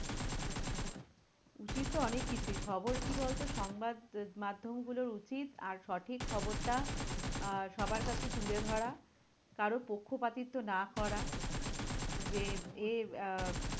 উচিত তো অনেক কিছুই খবর কি বল তো? সংবাদ মাধ্যমগুলোর উচিত আর সঠিক খবরটা আহ সবার কাছে তুলে ধরা। কারোর পক্ষপাতিত্ব না করা। যে এ আহ